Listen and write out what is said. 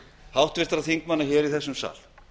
háttvirtra þingmanna hér í þessum sal